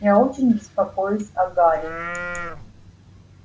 я очень беспокоюсь о гарри